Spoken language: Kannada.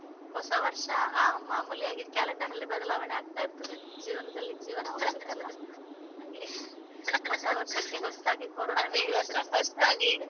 ಹೊಸವರ್ಷ ಹ ಮಾಮೂಲಿ ಆಗಿ calender ಅಲ್ಲಿ ಬದಲಾವಣೆ ಆಗ್ತಾ ಇರ್ತದೆ ಜೀವನದಲ್ಲಿ ಜೀವನ ಹೊಸತಲ್ವಾ ಹಾಗೆ ಹೊಸವರ್ಷಕ್ಕೆ ಹೊಸ್ತಾಗಿ ಕೋರೋಣ ಶುರು.